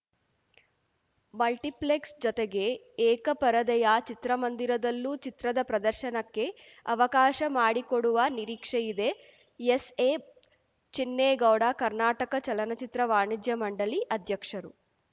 multiplex ಜೊತೆಗೆ ಏಕಪರದೆಯ ಚಿತ್ರಮಂದಿರದಲ್ಲೂ ಚಿತ್ರದ ಪ್ರದರ್ಶನಕ್ಕೆ ಅವಕಾಶ ಮಾಡಿಕೊಡುವ ನಿರೀಕ್ಷೆಯಿದೆ ಎಸ್‌ಎ ಚಿನ್ನೇಗೌಡ ಕರ್ನಾಟಕ ಚಲನಚಿತ್ರ ವಾಣಿಜ್ಯ ಮಂಡಳಿ ಅಧ್ಯಕ್ಷರು